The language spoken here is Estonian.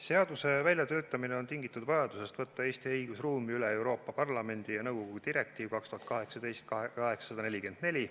Seaduse väljatöötamine on tingitud vajadusest võtta Eesti õigusruumi üle Euroopa Parlamendi ja nõukogu direktiiv 2018/844.